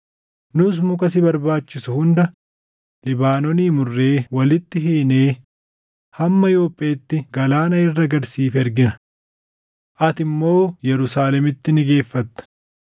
nus muka si barbaachisu hunda Libaanoonii murree walitti hiinee hamma Yoopheetti galaana irra gad siif ergina. Ati immoo Yerusaalemitti ni geeffatta.”